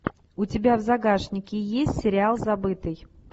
у тебя в загашнике есть сериал забытый